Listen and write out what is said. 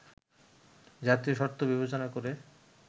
জাতীয় স্বার্থ বিবেচনা করে